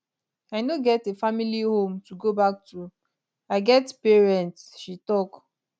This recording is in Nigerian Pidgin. i no get a [family] home to go back to i get pay rent she tok